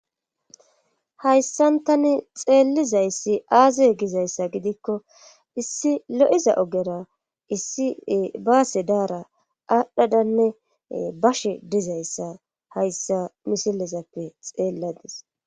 hayssantani xeellizayssi aaze gizayssa gidikko issi lo7iza ogera issi baase daara aadhdhadanne bashe dizayssa hayssa misilezappe xeelladis